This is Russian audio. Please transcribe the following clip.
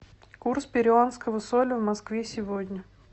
курс перуанского соля в москве сегодня